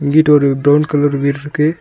இங்கிட்டு ஒரு brown colour வீடுருக்கு.